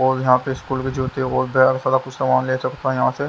और यहां पे स्कूल के जूते और ढेर सारा कुछ सामान लेसकता यहां से।